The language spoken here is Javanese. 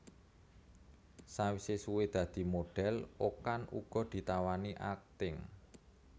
Sawise suwe dadi modhél Okan uga ditawani akting